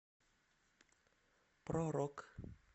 про рок